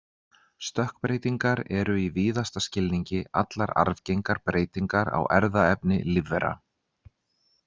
Stökkbreytingar eru í víðasta skilningi allar arfgengar breytingar á erfðaefni lífvera.